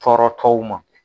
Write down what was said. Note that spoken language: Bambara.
Tɔɔrɔtɔw ma